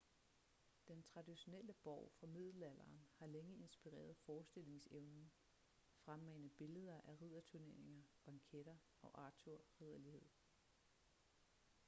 den traditionelle borg fra middelalderen har længe inspireret forestillingsevnen fremmane billeder af ridderturneringer banketter og arthur ridderlighed